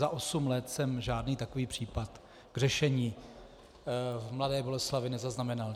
Za osm let jsem žádný takový případ k řešení v Mladé Boleslavi nezaznamenal.